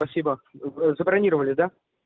спасибо забронировали да